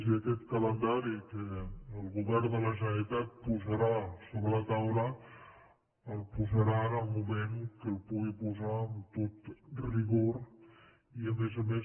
i aquest calendari que el govern de la generalitat posarà sobre la taula el posarà en el moment que el pugui posar amb tot rigor i a més a més